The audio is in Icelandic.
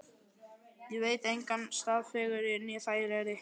Ég veit engan stað fegurri né þægilegri.